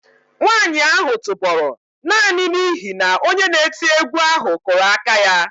Nwanyị ahụ tụbọrọ naanị n'ihi na onye na-eti egwu ahụ kụrụ aka ya